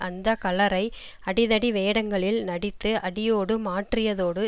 அந்த கலரை அடி தடி வேடங்களில் நடித்து அடியோடு மாற்றியதோடு